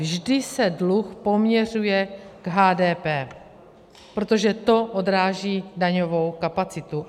Vždy se dluh poměřuje k HDP, protože to odráží daňovou kapacitu.